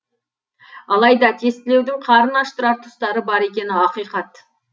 алайда тестілеудің қарын аштырар тұстары бар екені ақиқат